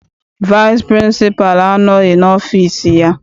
Vaịsị pịrịnsịpalụ anọghị n'ọfịịsi ya.